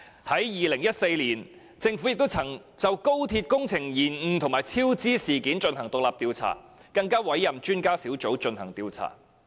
在2014年，政府曾就高鐵工程延誤及超支事件進行獨立調查，更委任專家小組進行調查。